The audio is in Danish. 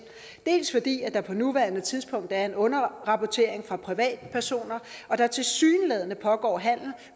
dels fordi der på nuværende tidspunkt er en underrapportering fra privatpersoner og der tilsyneladende pågår handel